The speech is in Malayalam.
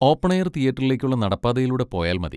ഓപ്പൺ എയർ തിയേറ്ററിലേക്കുള്ള നടപ്പാതയിലൂടെ പോയാൽ മതി.